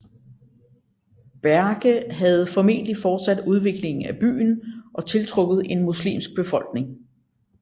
Berke havde formentlig fortsat udviklingen af byen og tiltrukket en muslimsk befolkning